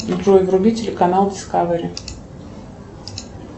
джой вруби телеканал дискавери